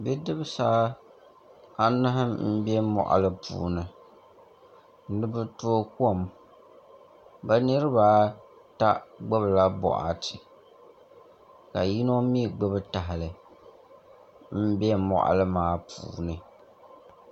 Bidibsi anahi n bɛ moɣali puuni ni bi tooi kom bi niraba ata gbubila boɣati ka yino mii gbubi tahali n bɛ moɣali maa puuni